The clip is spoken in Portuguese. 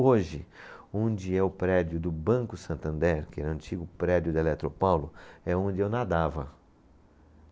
Hoje, onde é o prédio do Banco Santander, que era um antigo prédio da Eletropaulo, é onde eu nadava.